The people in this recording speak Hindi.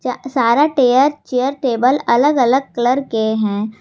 सारा टेयर चेयर टेबल अलग अलग कलर के हैं।